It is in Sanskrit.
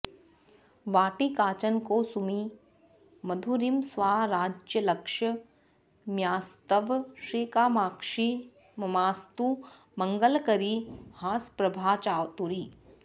वाटी काचन कौसुमी मधुरिमस्वाराज्यलक्ष्म्यास्तव श्रीकामाक्षि ममास्तु मङ्गलकरी हासप्रभाचातुरी